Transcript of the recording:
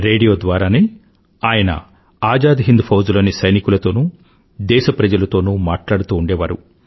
radio ద్వారానే ఆయన ఆజాద్ హిండ్ ఫౌజ్ లోని సైనికులతోనూ దేశప్రజలతోనూ మాట్లాడుతూ ఉండేవారు